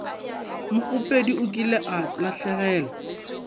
mokgopedi o kile a lahlegelwa